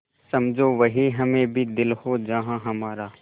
समझो वहीं हमें भी दिल हो जहाँ हमारा